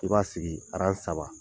I b'a sigi saba.